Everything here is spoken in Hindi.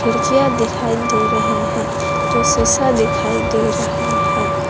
खिड़कियां दिखाई दे रहे हैं जो शीशा दिखाई दे रहा है।